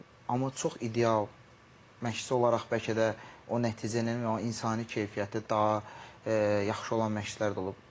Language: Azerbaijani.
Amma çox ideal məşqçi olaraq bəlkə də o nəticənin və o insani keyfiyyəti daha yaxşı olan məşqçilər də olub.